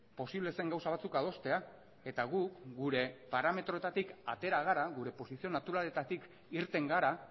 posible zen gauza batzuk adostea eta gu gure parametroetatik atera gara gure posizio naturaletatik irten gara